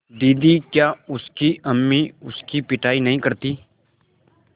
दीदी क्या उसकी अम्मी उसकी पिटाई नहीं करतीं